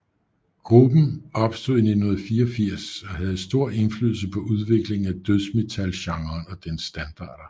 Gruppen opstod i 1984 og havde stor indflydelse på udviklingen af dødsmetalgenren og dens standarder